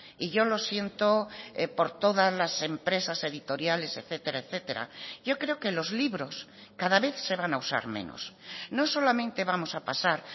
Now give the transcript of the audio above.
y yo lo siento por todas las empresas editoriales etcétera etcétera yo creo que los libros cada vez se van a usar menos no solamente vamos a pasar